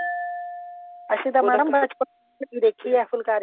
ਵੈਸੇ ਤਾਂ madam ਤੁਸੀਂ ਦੇਖੀ ਆ ਫੁਲਕਾਰੀ